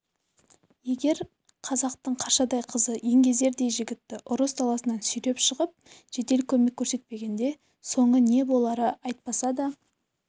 егер қазақтың қаршадай қызы еңгезердей жігітті ұрыс даласынан сүйреп шығып жедел көмек көрсетпегенде соңы не болары айтпаса да